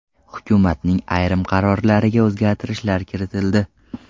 Hukumatning ayrim qarorlariga o‘zgartirishlar kiritildi.